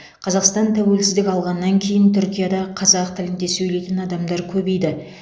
қазақстан тәуелсіздік алғаннан кейін түркияда қазақ тілінде сөйлейтін адамдар көбейді